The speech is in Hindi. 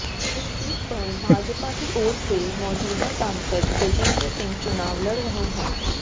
इस सीट पर भाजपा की ओर से मौजूदा सांसद गजेंद्र सिंह चुनाव लड़ रहे हैं